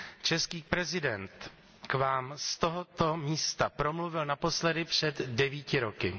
Český prezident k vám z tohoto místa promluvil naposledy před devíti roky.